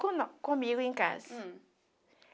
cono comigo em casa. Hm